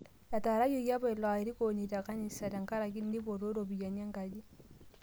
Etaarayioki apa ilo airukoni te kanisa te nkaraki neipotuo ropiyiani enkaji